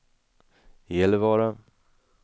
Gällivare